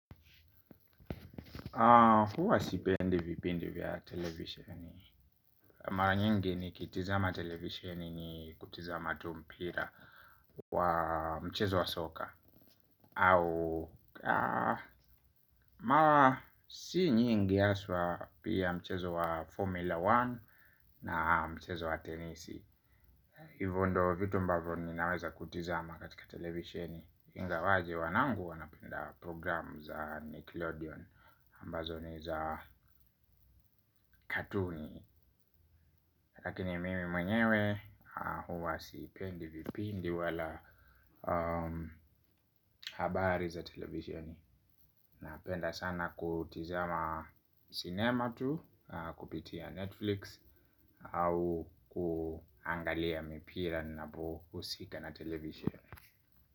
Huwa sipendi vipindi vya televisheni. Maranyingi ni kitizama televisheni ni kutizama tu mpira wa mchezo wa soka. Au mara si nyingi haswaa pia mchezo wa Formula One na mchezo wa tenisi. Hivo ndo vitu ambavyo ninaweza kutizama katika televisheni. Ingawaje wanangu wanapenda programu za Nickelodeon ambazo ni za katuni lakini mimi mwenyewe huwa siipendi vipindi wala habari za televisheni na penda sana kutizima cinema tu kupitia Netflix au kuangalia mipira ninapo husika na televisheni.